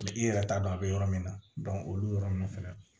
i yɛrɛ t'a dɔn a bɛ yɔrɔ min na olu yɔrɔ ninnu fɛnɛ